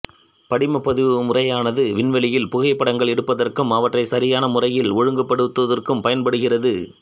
படிம பதிவு முறையானது விண்வெளியில் புகைப்படங்கள் எடுப்பதற்கும் அவற்றை சரியான முறையில் ஒழுங்குபடுத்துவதற்கும் பயன்படுகிறது